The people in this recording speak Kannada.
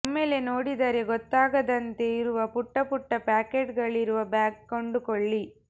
ಒಮ್ಮೆಲೇ ನೋಡಿದರೆ ಗೊತ್ತಾಗದಂತೆ ಇರುವ ಪುಟ್ಟ ಪುಟ್ಟ ಪಾಕೆಟ್ ಗಳಿರುವ ಬ್ಯಾಗ್ ಕೊಂಡುಕೊಳ್ಳಿ